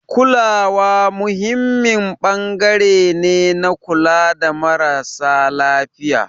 Kulawa muhimmin ɓangare ne na kula da marasa lafiya.